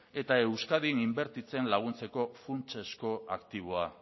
eta euskadin inbertitzen laguntzeko funtsezko aktiboa